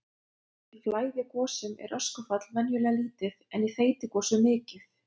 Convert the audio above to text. Í flæðigosum er öskufall venjulega lítið en í þeytigosum mikið.